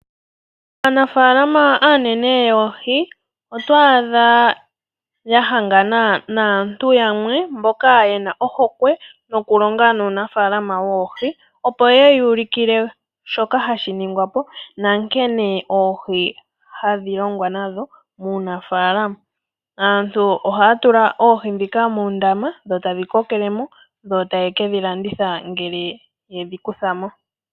Aanafalama aanene yoohi oto adha ya hangana naantu yamwe mboka ye na ohokwe yokulonga nuunaafalama woohi, opo ye ya ulukile shoka hashi ningwa po nankene oohi hadhi longwa nadho muunafalaama. Aantu ohaya tula oohi ndhika muundama dho tadhi kokele mo dho taye dhi ke landitha ngele ye dhi kutha mo.